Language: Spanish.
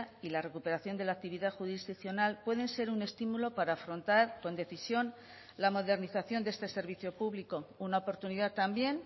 y la recuperación de la actividad jurisdiccional pueden ser un estímulo para afrontar con decisión la modernización de este servicio público una oportunidad también